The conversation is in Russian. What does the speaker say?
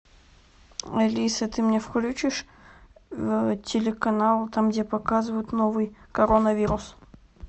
алиса ты мне включишь телеканал там где показывают новый коронавирус